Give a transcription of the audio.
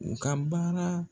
U ka baara